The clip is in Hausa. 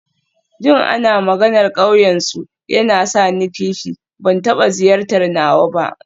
Jin ana maganar ƙauyensu yana sa ni kishi, ban taɓa ziyartar nawa ba.